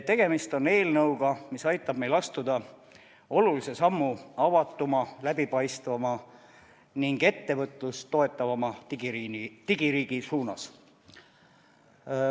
Tegemist on eelnõuga, mis aitab meil astuda olulise sammu avatuma, läbipaistvama ning ettevõtlust toetavama digiriigi suunas.